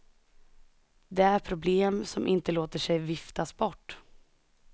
Det är problem som inte låter sig viftas bort.